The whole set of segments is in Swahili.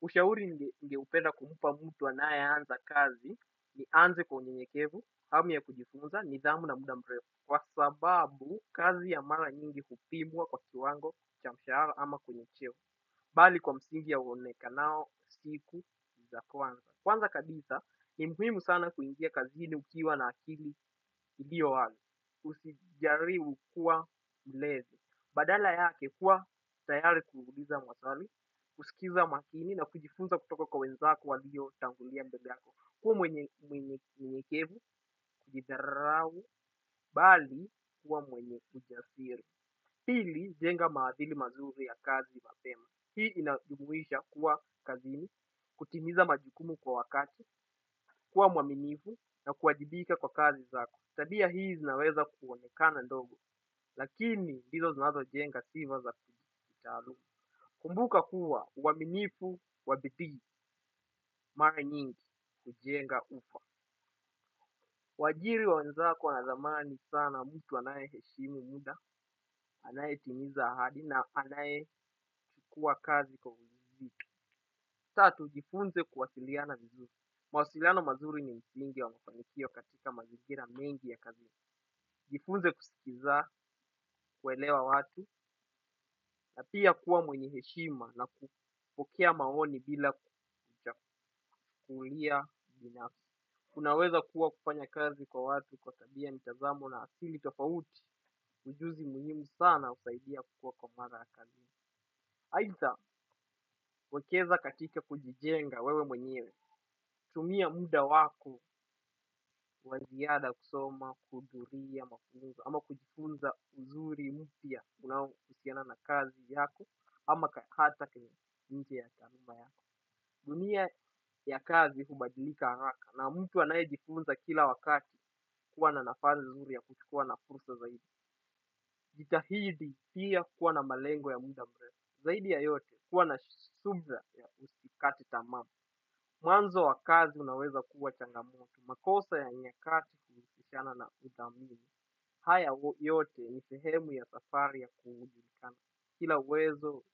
Ushauri ningeupenda kumpa mtu anayeanza kazi ni anze kwa unyenyekevu, hamu ya kujifunza, nidhamu na muda mrefu kwa sababu kazi ya mara nyingi hupimwa kwa kiwango cha mshahara ama kwenye cheo. Bali kwa msingi ya uonekanao siku za kwanza. Kwanza kabisa ni muhimu sana kuingia kazini ukiwa na akili iliowazi. Usijaribu kuwa mlevi. Badala yake kuwa tayari kuuliza maswali, kusikiza makini na kujifunza kutoka kwa wenzako waliotangulia mbele yako. Kuwa mwenye mwenye unyenyekevu, kujidharau, bali kuwa mwenye ujasiri. Pili jenga maadhili mazuri ya kazi mapema. Hii inadumuhisha kuwa kazini, kutimiza majukumu kwa wakati, kuwa mwaminifu na kuwajibika kwa kazi zako. Tabia hii zinaweza kuonekana ndogo, lakini ndizo zinazojenga sifa za kitaaluma. Kumbuka kuwa uwaminifu na bidii, mara nyingi, hujenga ufa. Wajiri wenzako wanadhamani sana mtu anayeheshimu muda, anayetimiza ahadi na anayechukua kazi kwa ujibitu. Tatu, jifunze kuwasiliana vizuri. Mawasiliano mazuri ni msingi wa mafanikio katika magingira mengi ya kazini. Jifunze kusikiza kuelewa watu na pia kuwa mwenye heshima na kupokea maoni bila kulia binafsi. Kunaweza kuwa kufanya kazi kwa watu kwa tabia nitazamo na akili tofauti ujuzi muhimu sana husaidia kuwa kwa mara ya kazi. Aidha, wekeza katika kujijenga wewe mwenyewe. Tumia muda wako waziada kusoma, kuhudhuria, mafunzo ama kujifunza uzuri mpya unaohusiana na kazi yako ama hata kwenye nje ya karimba yako. Dunia ya kazi hubadilika haraka na mtu anayejifunza kila wakati huwa na nafasi nzuri ya kuchukua na fursa zaidi. Jitahidi pia kuwa na malengo ya muda mrefu. Zaidi ya yote kuwa na subra ya usikate tamaa. Mwanzo wa kazi unaweza kuwa changamoto. Makosa ya nyakati kutokua na udhamini. Haya yote ni sehemu ya safari ya kumujitana. Kila uwezo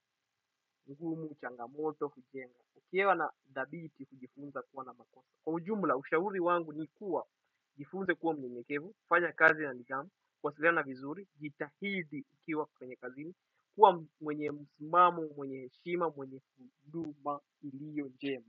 mgumu changamoto hujenga. Ukiwa na dhabiti kujifunza kuwa na makosa kwa ujumla ushauri wangu ni kuwa jifunze kuwa mnyenyekevu, fanya kazi na nidhamu, kuwasiliana vizuri, jitahidi ukiwa kwenye kazini, kuwa mwenye msimamo, mwenye heshima, mwenye huduma iliyonjema.